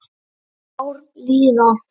Ár líða.